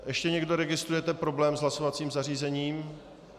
Ještě někdo registruje problém s hlasovacím zařízením?